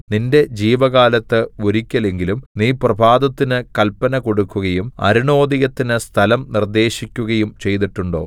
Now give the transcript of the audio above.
നിന്റെ ജീവകാലത്ത് ഒരിക്കലെങ്കിലും നീ പ്രഭാതത്തിന് കല്പന കൊടുക്കുകയും അരുണോദയത്തിന് സ്ഥലം നിർദ്ദേശിക്കുകയും ചെയ്തിട്ടുണ്ടോ